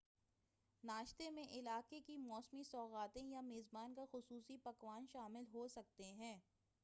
ناشتے میں علاقے کی موسمی سوغاتیں یا میزبان کا خصوصی پکوان شامل ہوسکتے ہیں